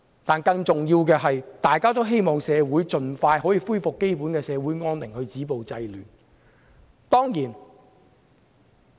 但是，更重要的是，大家都希望社會盡快恢復基本安寧，止暴制亂。